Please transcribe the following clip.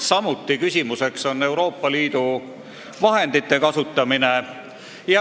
Samuti on küsimus Euroopa Liidu vahendite kasutamise kohta.